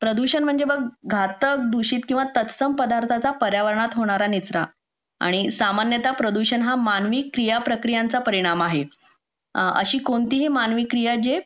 प्रदूषण म्हणजे बघ घातक दूषित किंवा तत्सम पदार्थांचा पर्यावरनात होणारा निचरा आणि सामान्यतः प्रदूषण हा मानवी क्रियाप्रक्रियांचा परिणाम आहे अशी कोणतीही मानवी क्रियाचे